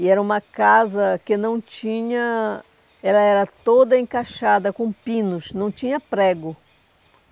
E era uma casa que não tinha... Ela era toda encaixada com pinos, não tinha prego.